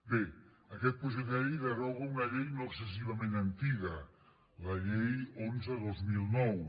bé aquest projecte de llei deroga una llei no excessivament antiga la llei onze dos mil nou